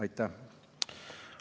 Aitäh!